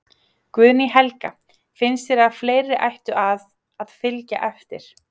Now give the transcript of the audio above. Guðný Helga: Finnst þér að fleiri ættu að, að fylgja eftir?